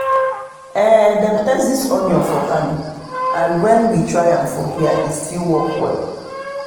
dem test this onion for kano and when we try am for here e e still work well.